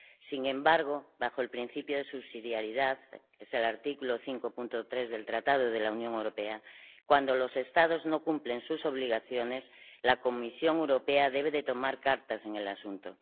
Sin embargo, bajo el principio de subsidiariedad —es el artículo 5, apartado 3, del Tratado de la Unión Europea—, cuando los Estados no cumplen sus obligaciones, la Comisión Europea debe tomar cartas en el asunto.